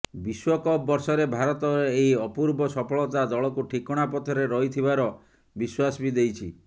ବିଶ୍ବକପ୍ ବର୍ଷରେ ଭାରତର ଏହି ଅପୂର୍ବ ସଫଳତା ଦଳକୁ ଠିକଣା ପଥରେ ରହିଥିବାର ବିଶ୍ବାସ ବି ଦେଇଛି